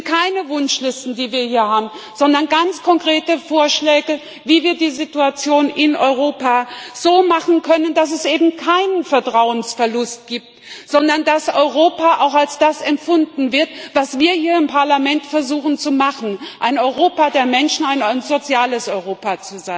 Es sind keine Wunschlisten, die wir hier haben, sondern ganz konkrete Vorschläge, wie wir die Situation in Europa so machen können, dass es eben keinen Vertrauensverlust gibt, sondern dass Europa als das empfunden wird, was wir hier im Parlament versuchen zu machen ein Europa der Menschen und ein soziales Europa.